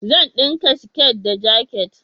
Zan dinka siket da jakit